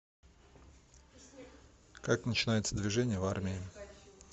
как начинается движение в армии